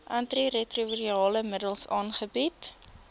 antiretrovirale middels aangebied